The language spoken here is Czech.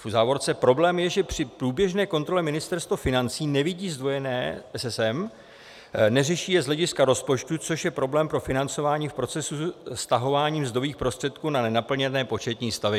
V závorce: Problém je, že při průběžné kontrole Ministerstvo financí nevidí zdvojené SSM, neřeší je z hlediska rozpočtu, což je problém pro financování v procesu vztahování mzdových prostředků na nenaplněné početní stavy.